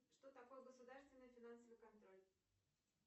что такое государственный финансовый контроль